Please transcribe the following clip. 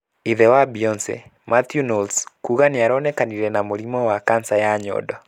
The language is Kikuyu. Ithe wa Beyonce, Mathew Knowles kuga nĩaronekanire na mũrimũ wa kansa ya nyondo.